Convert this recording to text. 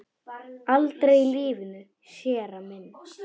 Aldrei í lífinu, séra minn.